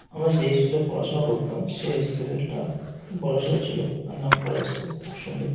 আমরা যে স্কুল -এ পড়াশোনা করতাম সেই স্কুল -টা খুব বড়ো সরো ছিল আর নামকরা স্কুল খুব সুন্দর ।